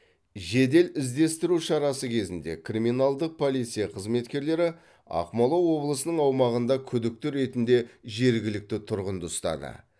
жедел іздестіру шарасы кезінде криминалдық полиция қызметкерлері ақмола облысының аумағында күдікті ретінде жергілікті тұрғынды ұстады